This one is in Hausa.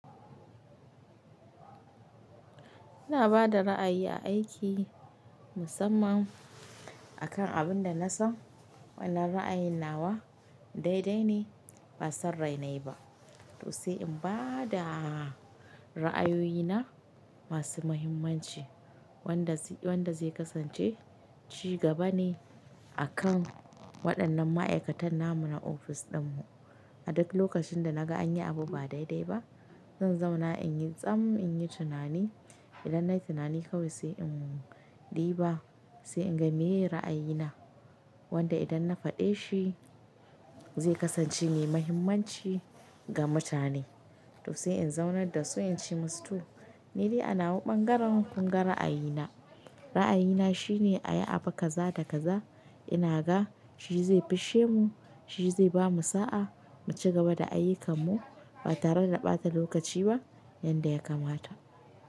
Ina ba da ra'ayi a aiki musamman akan abin da na san wannan ra'ayin nawa daidai ne ba sarrainai ba. To sai in ba da ra'ayoyi na masu muhimmanci wanda zai kasance ci gaba ne akan waɗannan ma'aikatan namu na ofis ɗinmu. A duk lokacin da naga an yi abu ba daidai ba, zan zauna in yi tsam, in yi tunani. Idan na yi tunani kawai sai in ɗiba, sai in ga meye ra'ayina. Wanda idan na faɗe shi zai kasance mai mahimmanci ga mutane. To sai in zaunar da su in ce musu to. Ni dai ana wa ɓangaren kunga ra'ayina. Ra'ayina shine a yi abu kaza da kaza ina ga shi zai fisshe mu, shi zai bamu sa'a mu ci gaba da ayukanmu ba tare da ɓata lokaci ba yanda ya kamata.